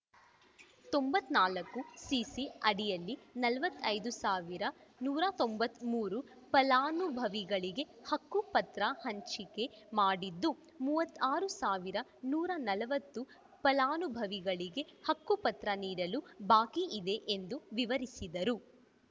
ತೊಂಬತ್ತ್ ನಾಲ್ಕು ಸಿಸಿ ಅಡಿಯಲ್ಲಿ ನಲವತ್ತೈದು ಸಾವಿರ ನೂರ ತೊಂಬತ್ತ್ ಮೂರು ಫಲಾನುಭವಿಗಳಿಗೆ ಹಕ್ಕು ಪತ್ರ ಹಂಚಿಕೆ ಮಾಡಿದ್ದು ಮೂವತ್ತ್ ಆರು ಸಾವಿರ ನೂರ ನಲವತ್ತು ಫಲಾನುಭವಿಗಳಿಗೆ ಹಕ್ಕುಪತ್ರ ನೀಡಲು ಬಾಕಿ ಇದೆ ಎಂದು ವಿವರಿಸಿದರು